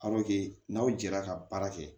n'aw jɛra ka baara kɛ